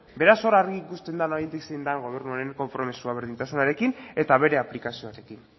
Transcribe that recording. beraz hor argi ikusten da oraindik zein den gobernuaren konpromisoak berdintasunarekin eta bere aplikazioarekin